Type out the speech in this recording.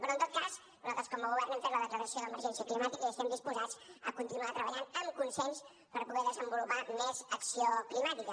però en tot cas nosaltres com a govern hem fet la declaració d’emergència climàtica i estem disposats a continuar treballant amb consens per poder desenvolupar més acció climàtica